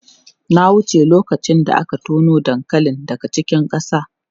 Na wuce lokacin da aka tono dankali daga cikin ƙasa.